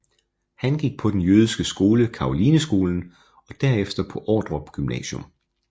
Han gik på den jødiske skole Carolineskolen og derefter på Ordrup Gymnasium